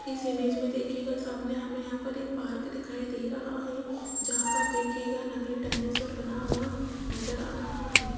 इस इमेज में देखियेगा सामने हमें यहां पर एक पार्क दिखाई दे रहा है जहां पर देखियेगा नकली डायनासोर बना हुआ नजर आ रहा है।